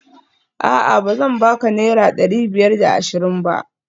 A'a bazan baka naira dari biyar da ashirin ba?